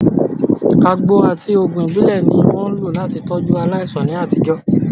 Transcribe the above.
Àgbo àti òògùn ìbílẹ̀ ni wọ́n ń lò láti tọ́jú aláìsàn ní àtijọ́.